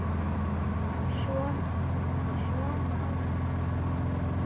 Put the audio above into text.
Og svo má telja.